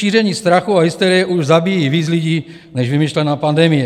Šíření strachu a hysterie už zabíjí víc lidí než vymyšlená pandemie.